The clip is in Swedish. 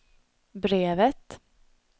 brevet